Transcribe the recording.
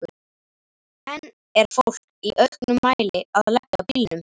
En er fólk í auknum mæli að leggja bílunum?